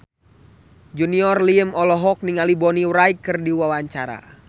Junior Liem olohok ningali Bonnie Wright keur diwawancara